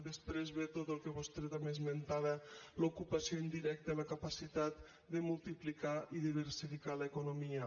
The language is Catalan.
després ve tot el que vostè també esmentava l’ocupació indirecta la capacitat de multiplicar i diversificar l’economia